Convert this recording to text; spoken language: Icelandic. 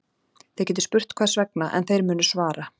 Þið getið spurt hvers vegna, en þeir munu svara